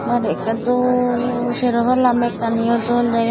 bari akkey doll serow pala mekkani ow doll degey.